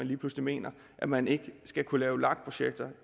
lige pludselig mener at man ikke skal kunne lave lag projekter